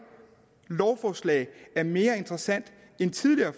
lovforslag er mere interessant end tidligere